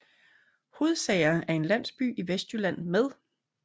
Hodsager er en landsby i Vestjylland med